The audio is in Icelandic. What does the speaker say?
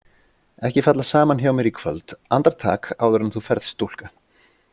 Ekki falla saman hjá mér í kvöld Andartak, áður en þú ferð, stúlka.